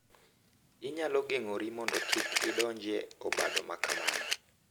Inyalo geng’ori mondo kik idonj e obadho ma kamano.